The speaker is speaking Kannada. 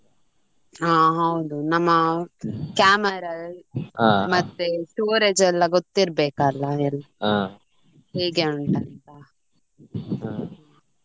ಹಾ ಹೌದು ನಮ್ಮ camera ಮತ್ತೆ storage ಎಲ್ಲ ಗೊತ್ತಿರ್ಬೇಕಲ್ಲ ಎಲ್ಲ ಹೇಗೆ ಉಂಟಂತಾ .